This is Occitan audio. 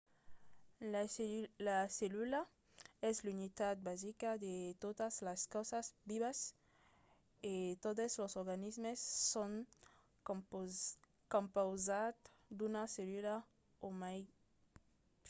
la cellula es l'unitat basica de totas las causas vivas e totes los organismes son compausats d'una cellula o mai